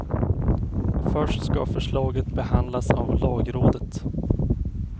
Först ska förslaget behandlas av lagrådet.